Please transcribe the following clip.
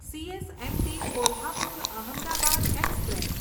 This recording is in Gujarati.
CSMT Kolhapur Ahmedabad express